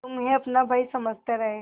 तुम्हें अपना भाई समझते रहे